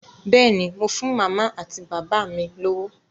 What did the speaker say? Bẹ́ẹ̀ ni, mo fún màmá àti bàbá mi lówó.